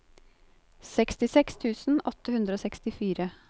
sekstiseks tusen åtte hundre og sekstifire